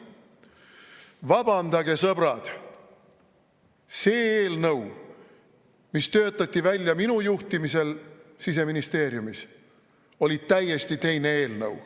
Vabandage, sõbrad, see eelnõu, mis töötati välja minu juhtimisel Siseministeeriumis, oli täiesti teine eelnõu.